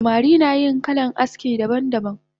Samari nayin kalan aski daban daban